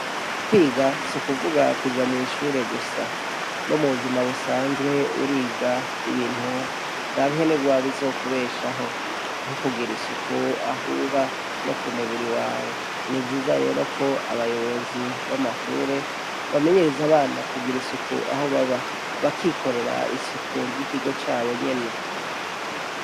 Kwiga si ukuvuga kuja mw'ishure gusa no muzima busanzwe uriga ibintu ranke ni gwa bizokubeshaho nk'ukugira isuku ahuba no ku mubiri wawe ni ivyiza rero ko abayobozi b'amashure bamenyereze abana kugira isuku aho baba bakikorera isuku ry' ikigo cabo nyene.